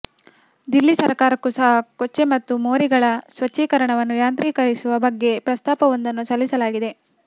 ದಿಲ್ಲಿ ಸರಕಾರಕ್ಕೂ ಸಹ ಕೊಚ್ಚೆ ಮತ್ತು ಮೋರಿಗಳ ಸ್ವಚ್ಛೀಕರಣವನ್ನು ಯಾಂತ್ರೀಕರಿಸುವ ಬಗ್ಗೆ ಪ್ರಸ್ತಾಪವೊಂದನ್ನು ಸಲ್ಲಿಸಲಾಗಿದೆ